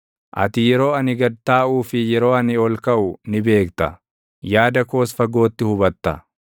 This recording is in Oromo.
Ati yeroo ani gad taaʼuu fi yeroo ani ol kaʼu ni beekta; yaada koos fagootti hubatta.